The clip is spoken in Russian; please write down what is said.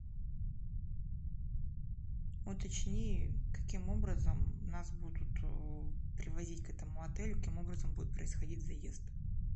уточни каким образом нас будут привозить к этому отелю каким образом будет происходить заезд